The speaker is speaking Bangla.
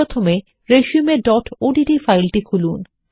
প্রথমে resumeওডিটি ফাইল খুলুন